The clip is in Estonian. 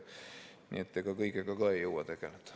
Nii et ega kõigega ka ei jõua tegeleda.